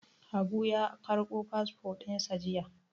Habu ya ƙarɓo fasfo ɗin sa jiya.